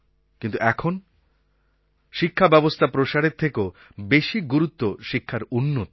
কিন্তু এখন শিক্ষাব্যবস্থা প্রসারের থেকেও বেশি গুরুত্ব শিক্ষার উন্নতির